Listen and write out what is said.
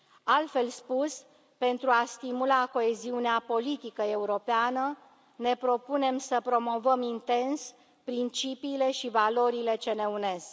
Altfel spus, pentru a stimula coeziunea politică europeană, ne propunem să promovăm intens principiile și valorile ce ne unesc.